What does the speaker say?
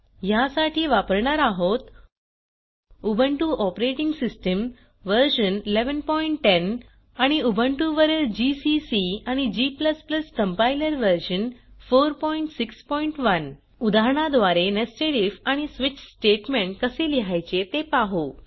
ह्यासाठी वापरणार आहोत उबुंटू ऑपरेटिंग सिस्टम व्हर्शन 1110 आणि उबुंटु वरील GCC and g compiler version 461 उदाहरणाद्वारे नेस्टेड आयएफ आणि स्विच स्टेटमेंट कसे लिहायचे ते पाहू